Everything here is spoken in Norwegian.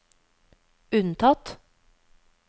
unntatt